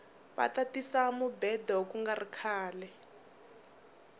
vata tisa mubhedo kungari khale